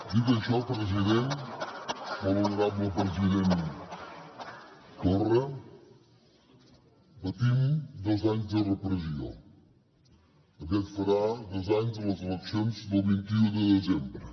dit això president molt honorable president torra patim dos anys de repressió aviat farà dos anys de les eleccions del vint un de desembre